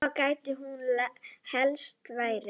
Hvar gæti hún helst verið?